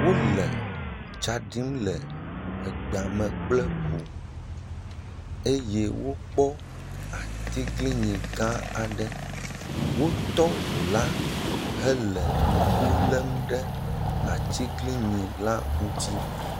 Wole etsa ɖim le egbe me kple ŋu eye wokpɔ atiglinyi gã aɖe. wotɔ ŋu la hele ŋku lem ɖe atiglinyila ŋuti